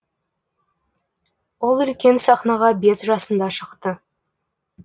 ол үлкен сахнаға бес жасында шықты